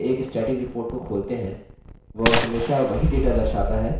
जब भी देखने के लिए एक static report को खोलते हैं